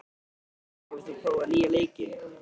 Sævin, hefur þú prófað nýja leikinn?